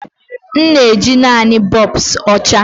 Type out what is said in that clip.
M na-eji naanị bulbs ọcha.